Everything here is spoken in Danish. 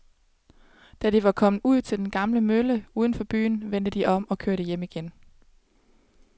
Da de var kommet ud til den gamle mølle uden for byen, vendte de om og kørte hjem igen.